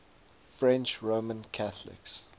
french roman catholics